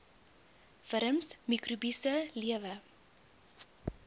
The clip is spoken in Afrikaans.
wurms mikrobiese lewe